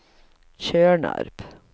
Tjörnarp